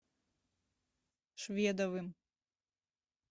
шведовым